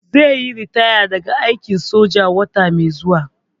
Zai yi ritaya daga aikin soja wata mai zuwa.